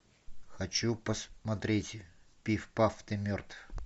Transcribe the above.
хочу посмотреть пиф паф ты мертв